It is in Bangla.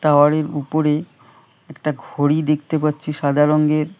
টাওয়ারের উপরে একটা ঘড়ি দেখতে পাচ্ছি সাদা রংয়ের।